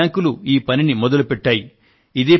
అన్ని బ్యాంకులు ఈ పనిని మొదలుపెట్టాయి